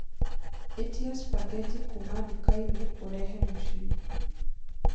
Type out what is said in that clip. ĩtĩa spaghetti kuũma dukaini urehe mũcĩĩ